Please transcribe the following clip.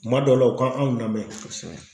Kuma dɔ la u ka anw lamɛn kosɛbɛ.